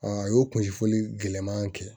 A y'o kuncɛ fɔli gɛlɛman kɛ